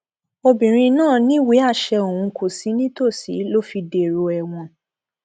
obìnrin náà níwèéàṣẹ òun kò sì nítòsí ló fi dèrò ẹwọn